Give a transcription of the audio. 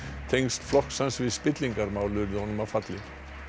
tengsl flokks hans við spillingarmál urðu honum að falli